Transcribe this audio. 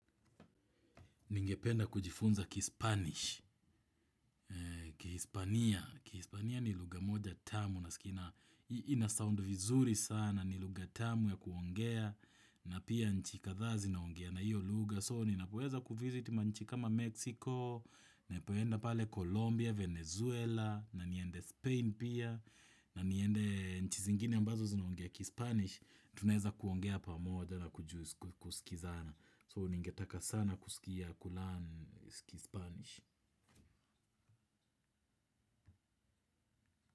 Ningependa kujifunza kispanish kihispania kihispania ni lugha moja tamu nasikia ina sound vizuri sana ni lugha tamu ya kuongea na pia nchi kadhaa zinaongea na hiyo lugha So ninapoweza kuvisit ma nchi kama Mexico. Ninapoenda pale Colombia Venezuela na niende Spain pia. Na niende nchi zingine ambazo zinaongea kispanish tunaeza kuongea pamoja na kusikizana so ningetaka sana kusikia kulearn kispanish.